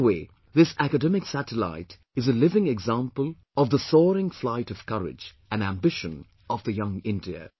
In a way, this academic satellite is a living example of the soaring flight of courage and ambition of the young India